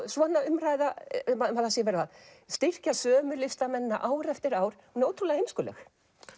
svona umræða um að það sé verið að styrkja sömu listamennina ár eftir ár er ótrúlega heimskuleg